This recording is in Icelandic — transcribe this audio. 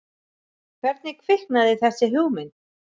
Hvernig kviknaði þessi hugmynd?